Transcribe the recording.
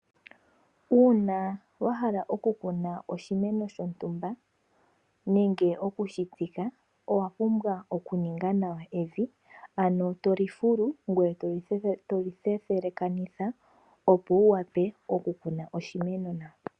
Uuna wahala okukuna oshimeno shontumba nenge okushitsika owa pumbwa oku ninga evi nawa ano toli fulu eetoli thethelekanitha opo wuwape okukuna oshimeno nawa.